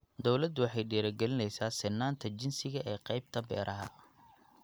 Dawladdu waxay dhiirigelinaysaa sinnaanta jinsiga ee qaybta beeraha.